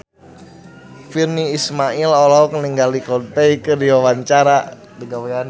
Virnie Ismail olohok ningali Coldplay keur diwawancara